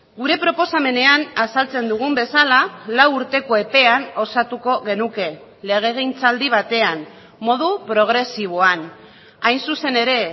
gure proposamenean azaltzen dugun bezala lau urteko epean osatuko genuke legegintzaldi batean modu progresiboan hain zuzen ere